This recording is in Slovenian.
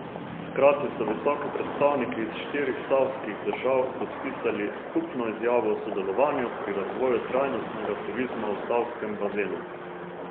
Hkrati so visoki predstavniki iz štirih savskih držav podpisali skupno izjavo o sodelovanju pri razvoju trajnostnega turizma v Savskem bazenu.